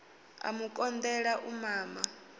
a mu konḓela u mama